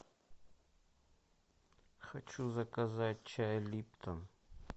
хочу заказать чай липтон